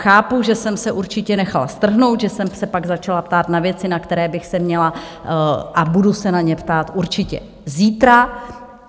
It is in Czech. Chápu, že jsem se určitě nechala strhnout, že jsem se pak začala ptát na věci, na které bych se měla a budu se na ně ptát určitě zítra.